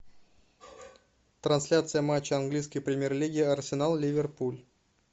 трансляция матча английской премьер лиги арсенал ливерпуль